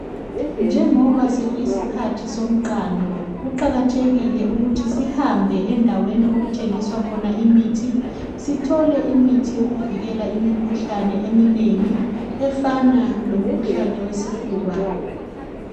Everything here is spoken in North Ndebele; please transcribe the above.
njengoba sekuyisikhathi somqando kuqakathekile ukusthi sihambe endweni okuthengiswa khona imithi sithole imithi yokuvikela imikhuhlane eminengi efana lomkhuhlane wesifuba